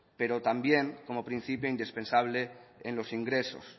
pero también como principio indispensable en los ingresos